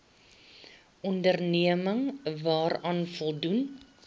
onderneming daaraan voldoen